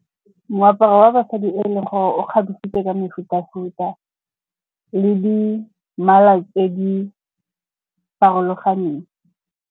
Moaparo wa basadi e leng gore o kgabisitse ka mefuta-futa le di mmala tse di farologaneng.